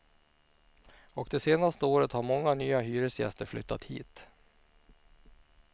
Och det senaste året har många nya hyresgäster flyttat hit.